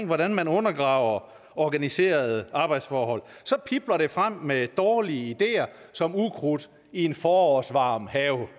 hvordan man undergraver organiserede arbejdsforhold så pibler det frem med dårlige ideer som ukrudt i en forårsvarm have